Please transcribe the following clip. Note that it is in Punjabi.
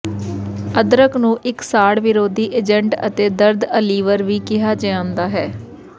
ਅਦਰਕ ਨੂੰ ਇੱਕ ਸਾੜ ਵਿਰੋਧੀ ਏਜੰਟ ਅਤੇ ਦਰਦ ਅਲੀਵਰ ਵੀ ਕਿਹਾ ਜਾਂਦਾ ਹੈ